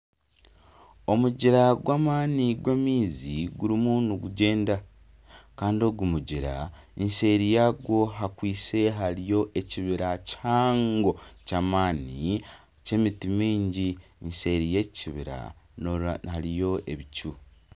Omugyera gw'amaani gw'amaizi gurimu nigugyenda kandi ogu mugyera eseeri yagwo hakwise hariyo ekibira kihango ky'amaani ky'emiti mingi, eseeri yeki kibira hariyo ebicu.